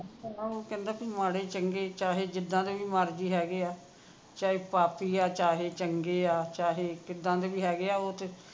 ਉਹ ਕਹਿੰਦਾ ਮਾੜੇ ਚੰਗੇ ਚਾਹੇ ਜਿੱਦਾ ਦੇ ਵੀ ਮਰਜੀ ਹੈਗੇ ਆ ਚਾਹੇ ਪਾਪੀ ਆ ਚਾਹੇ ਚੰਗੇ ਆ ਚਾਹੇ ਕਿੱਦਾਂ ਦੇ ਵੀ ਹੈਗੇ ਆ ਉਹ ਤੇ